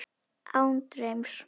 Án draums.